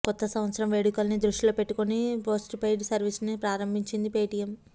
కొత్త సంవత్సర వేడుకల్ని దృష్టిలో పెట్టుకొని పోస్ట్పెయిడ్ సర్వీస్ని ప్రారంభించింది పేటీఎం